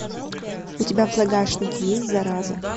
у тебя в загашнике есть зараза